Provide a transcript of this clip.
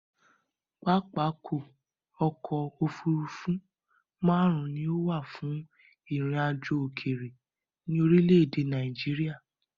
Pápákọ̀ ọ̀kọ òfurufú máàrún ni ó wà fún ìrìn àjò òkèrè ní orílé èdè Nàìjíría